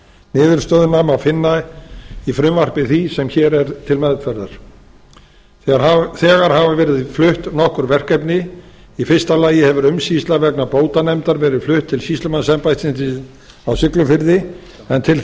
niðurstöðuna má finna í frumvarpi því sem hér er til meðferðar þegar hafa verið flutt nokkur verkefni í fyrsta lagi hefur umsýsla vegna bótanefndar verið flutt til sýslumannsembættisins á siglufirði en til